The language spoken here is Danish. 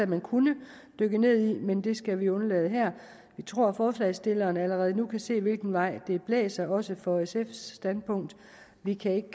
man kunne dykke ned i men det skal vi undlade her vi tror forslagsstillerne allerede nu kan se hvilken vej det blæser også for sfs standpunkt og vi kan ikke